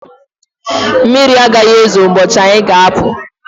Mmiri agaghi ezo ụbọchị anyị ga apụ